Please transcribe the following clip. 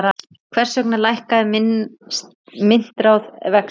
Hvers vegna lækkar myntráð vexti?